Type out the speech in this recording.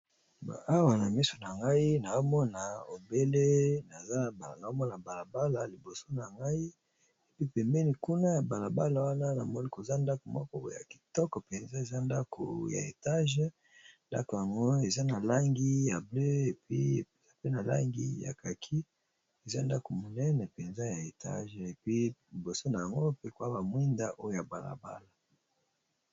Awa na miso na ngai nazomona obele nazo mona balabala pembeni kuna nazomona ndako ya Etage ya kitoko eza na langi ya bleue na kaki et puis koza ba mwinda liboso ya ndako